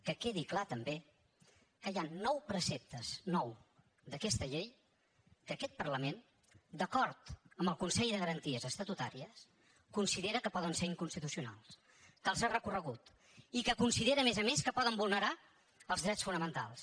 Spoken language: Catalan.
que quedi clar també que hi ha nou preceptes nou d’aquesta llei que aquest parlament d’acord amb el consell de garanties estatutàries considera que poden ser inconstitucionals que els ha recorregut i que considera a més a més que poden vulnerar els drets fonamentals